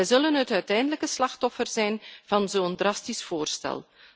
Ze zullen het uiteindelijke slachtoffer zijn van zo'n drastisch voorstel.